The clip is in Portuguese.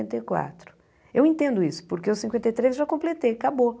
Cinquenta e quatro eu entendo isso, porque o cinquenta e três eu já completei, acabou.